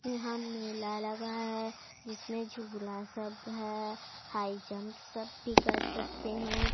यहां मेला लगा है जिसमें झूला सब है हाई जंप सब भी कर सकते हैं।